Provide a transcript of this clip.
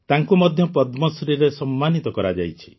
ତାଙ୍କୁ ମଧ୍ୟ ପଦ୍ମଶ୍ରୀରେ ସମ୍ମାନିତ କରାଯାଇଛି